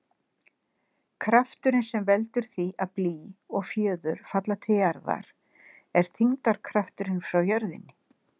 Krafturinn sem veldur því að blý og fjöður falla til jarðar er þyngdarkrafturinn frá jörðinni.